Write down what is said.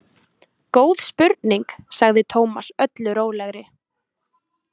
Góð spurning, sagði Tómas öllu rólegri.